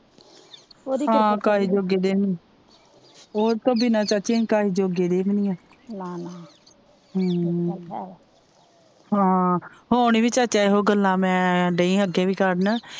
ਕਹੇ ਜੋਗੇ ਦੇ ਵੀ ਨਹੀਂ ਆ ਓਦੇ ਤੋਂ ਬਿਨ੍ਹਾਂ ਚਾਚੀ ਅਸੀ ਕਾਹੇ ਜੋਗੇ ਦੇ ਵੀ ਨਹੀਂ ਆ ਹਾਂ ਹੁਣ ਵੀ ਚਾਚਾ ਇਹੋ ਗੱਲਾਂ ਮੈ ਦਈ ਹਾਂ ਅੱਗੇ ਵੀ ਕਰਨ।